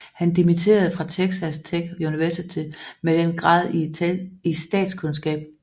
Han dimitterede fra Texas Tech Universitet med den grad i statskundskab